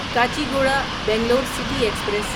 Kacheguda Bangalore city express